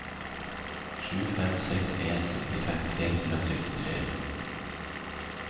sju fem seks en sekstifem tre hundre og syttitre